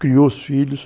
Criou os filhos.